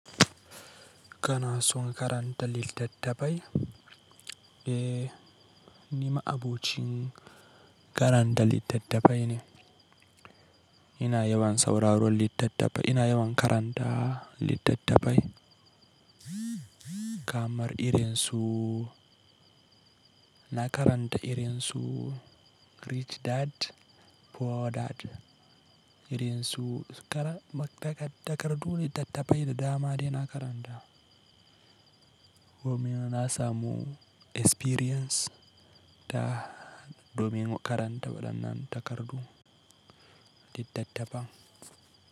Kana son karanta littattafai? Eh, nima abocin karanta littattafai ne. Ina yawan sauraron littattafai, ina yawan karanta littattafai. Kamar irin su, na karanta irin su Rich Dad Poor Dad, irin su takardu littattafai da dama dai na karanta. Domin na samu experience ta domin karanta waɗannan takardu, littattafa.